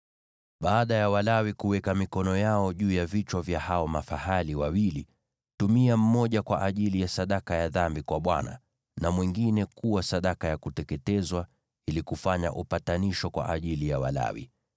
“Baada ya Walawi kuweka mikono yao juu ya vichwa vya hao mafahali wawili, tumia mmoja kwa ajili ya sadaka ya dhambi kwa Bwana , na mwingine kuwa sadaka ya kuteketezwa, ili kufanya upatanisho kwa ajili ya Walawi.